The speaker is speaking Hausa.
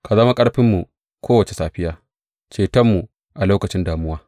Ka zama ƙarfinmu kowace safiya, cetonmu a lokacin damuwa.